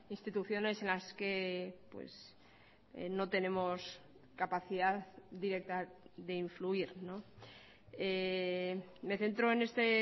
instituciones en las que no tenemos capacidad directa de influir me centro en este